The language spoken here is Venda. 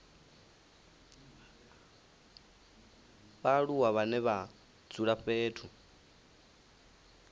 vhaaluwa vhane vha dzula fhethu